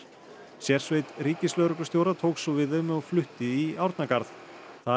sérsveit ríkislögreglustjóra tók svo við þeim og flutti í Árnagarð þar